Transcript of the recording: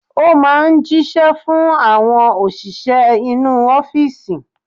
Ó máa ń jíṣẹ́ fún àwọn òṣìṣẹ́ inú ọ́fìsì.